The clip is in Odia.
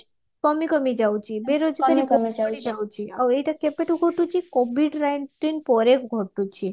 କମି କମି ଯାଉଚି ବେରୋଜଗାର ଆଉ ଏଇଟା କେବେଠୁ ଘଟୁଚି covid nineteen ପରେ ଘଟୁଚି